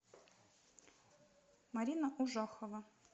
марина ужахова